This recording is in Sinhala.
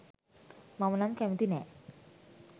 මම නම් කැමැති නෑ.